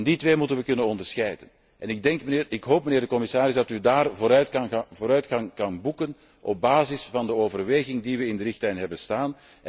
Die twee moeten we kunnen onderscheiden. Ik hoop, mijnheer de commissaris, dat we op dat punt vooruitgang kunnen boeken op basis van de overweging die we in de richtlijn hebben staan.